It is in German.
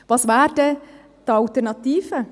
Was wäre die Alternative?